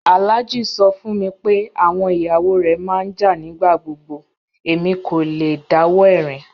Alhaji sọ fún mí pé awọn iyawo rẹ má n jà nigbagbogbo, èmi kò lẹ̀ dáwọ̀ ẹ̀rin